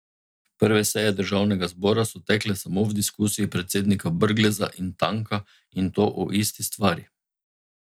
Prve seje državnega zbora so tekle samo v diskusiji predsednika Brgleza in Tanka, in to o isti stvari.